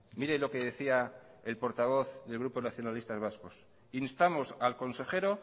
mire lo que decía el portavoz del grupo nacionalistas vascos instamos al consejero